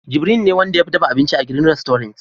Jibiril ne Wanda ya fi dafa abinci a "green restaurant"